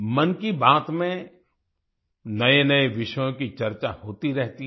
मन की बात में नएनए विषयों कीचर्चा होती रहती है